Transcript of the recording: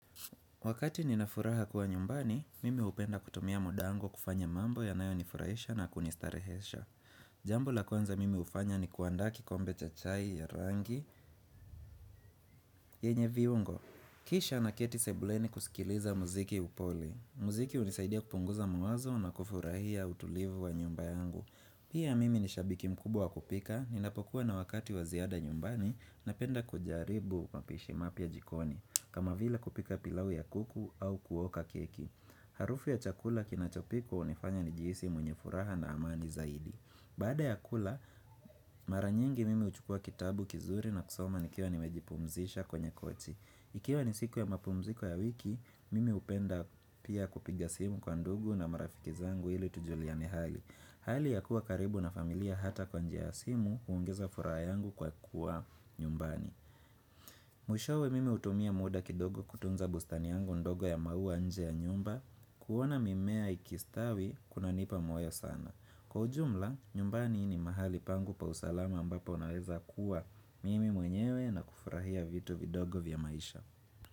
Wakati nina furaha kuwa nyumbani, mimi hupenda kutumia muda wangu kufanya mambo yanayonifurahisha na kunistarehesha. Jambo la kwanza mimi hufanya ni kuandaa kikombe cha chai, ya rangi, yenye viungo. Kisha naketi sebuleni kusikiliza muziki upole. Mziki hunisaidia kupunguza mawazo na kufurahia utulivu wa nyumba yangu. Pia mimi nishabiki mkubwa kupika, ninapokuwa na wakati wa ziada nyumbani napenda kujaribu mapishi mapya jikoni. Kama vile kupika pilau ya kuku au kuoka keki Harufu ya chakula kinachopikwa hunifanya nijihisi mwenye furaha na amani zaidi. Baada ya kula mara nyingi mimi uchukua kitabu kizuri na kusoma nikiwa nimejipumzisha kwenye kochi. Ikiwa ni siku ya mapumziko ya wiki mimi hupenda pia kupiga simu kwa ndugu na marafiki zangu ili tujuliane hali Hali ya kuwa karibu na familia hata kwa njia ya simu huongeza furaha yangu kwa kuwa nyumbani Mwishowe mimi hutumia muda kidogo kutunza bustani yangu ndogo ya maua nje ya nyumba. Kuona mimea ikistawi kunanipa moyo sana. Kwa ujumla nyumbani ni mahali pangu pa usalama ambapo naweza kuwa mimi mwenyewe na kufurahia vitu vidogo vya maisha.